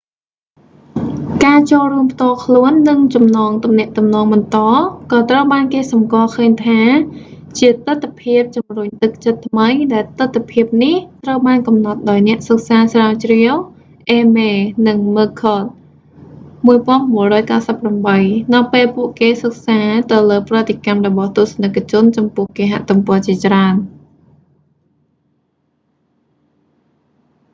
ការចូលរួមផ្ទាល់ខ្លួន” និង ចំណងទំនាក់ទំនងបន្ត” ក៏ត្រូវបានគេសម្គាល់ឃើញថាជាទិដ្ឋភាពជម្រុញទឹកចិត្តថ្មី ដែលទិដ្ឋភាពនេះត្រូវបានកំណត់ដោយអ្នកសិក្សាស្រាវជ្រាវ អេមេ eighmey និង មឹគឃដ mccord 1998 នៅពេលពួកគេសិក្សាទៅលើប្រតិកម្មរបស់ទស្សនិកជនចំពោះគេហទំព័រជាច្រើន។